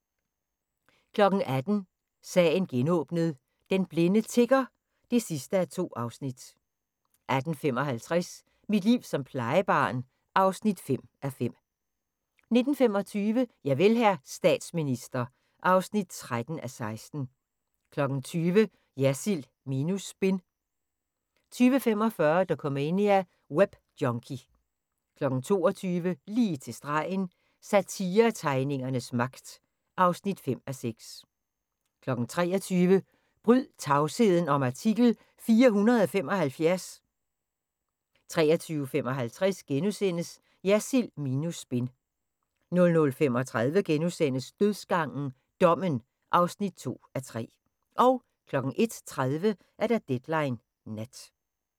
18:00: Sagen genåbnet: Den blinde tigger (2:2) 18:55: Mit liv som plejebarn (5:5) 19:25: Javel, hr. statsminister (13:16) 20:00: Jersild minus spin 20:45: Dokumania: Webjunkie 22:00: Lige til stregen – Satiretegningernes magt (5:6) 23:00: Bryd tavsheden om artikel 475! 23:55: Jersild minus spin * 00:35: Dødsgangen – Dommen (2:3)* 01:30: Deadline Nat